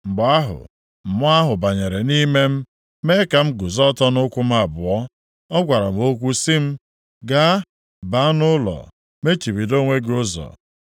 Mgbe ahụ, Mmụọ ahụ banyere nʼime m mee ka m guzo ọtọ nʼụkwụ m abụọ. Ọ gwara m okwu sị m, “Gaa, baa nʼụlọ, mechibido onwe gị ụzọ.